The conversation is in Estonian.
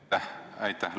Aitäh!